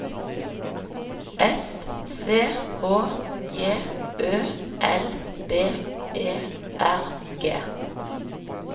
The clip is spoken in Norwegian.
S C H J Ø L B E R G